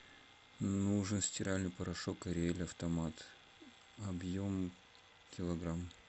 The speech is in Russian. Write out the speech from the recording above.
нужен стиральный порошок ариэль автомат объем килограмм